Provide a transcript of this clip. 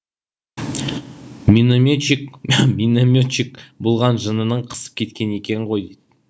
минометчик минометчик болған жынының қысып кеткен екен ғой